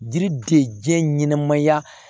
Diri de diɲɛ ɲɛnɛmaya